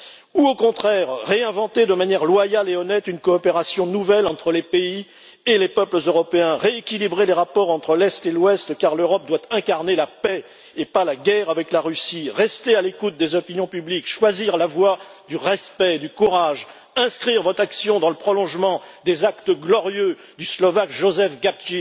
ou au contraire réinventer, de manière loyale et honnête, une coopération nouvelle entre les pays et les peuples européens, rééquilibrer les rapports entre l'Est et l'Ouest, car l'Europe doit incarner la paix, et pas la guerre, avec la Russie, rester à l'écoute des opinions publiques, choisir la voie du respect et du courage, inscrire votre action dans le prolongement des actes glorieux du Sslovaque Jozef Gabčík,